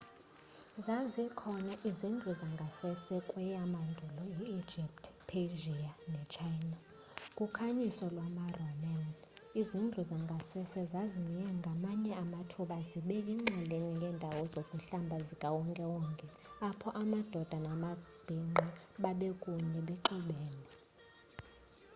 zazikhona izindlu zangasese kweyamandulo i egypt persia nechina. ku khanyiso lwama roman izindlu zangasese zaziye ngamanye amathuba zibe yinxalenye yendawo zokuhlamba zikawonke wonke apho amadoda namabhinqa babekunye bexubene